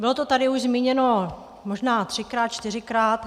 Bylo to tady už zmíněno možná třikrát, čtyřikrát.